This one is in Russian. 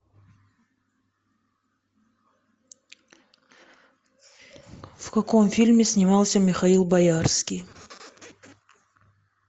в каком фильме снимался михаил боярский